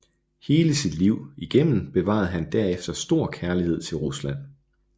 Hele sit liv igennem bevarede han derefter stor kærlighed til Rusland